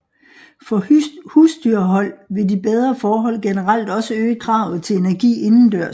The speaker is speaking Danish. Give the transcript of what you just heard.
For husdyrhold vil de bedre forhold generelt også øge kravet til energi indendørs